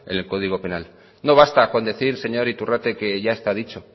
en el código penal no basta con decir señor iturrate que está ya dicho